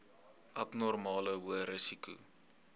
abnormale hoë risiko